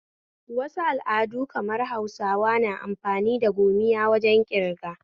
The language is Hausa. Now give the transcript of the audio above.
Wasu al'adu kamar Hausawa na amfani da gomiya wajen ƙirga